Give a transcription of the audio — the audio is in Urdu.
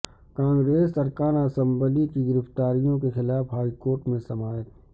کانگریس ارکان اسمبلی کی گرفتاریوں کے خلاف ہائی کورٹ میں سماعت